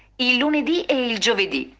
иллюмиэль